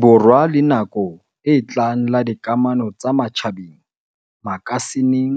Borwa la nako e tlang la dikamano tsa matjhabeng makasi ning